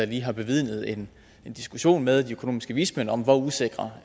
lige har bevidnet en diskussion med de økonomiske vismænd om hvor usikre